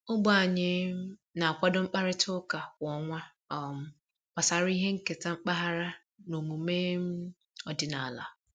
Ogbe anyị um na-akwado mkparịta ụka kwa ọnwa um gbasara ihe nketa mpaghara na omume um ọdịnala